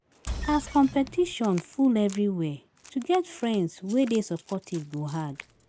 As competition full everywhere, to get friends wey dey supportive go hard.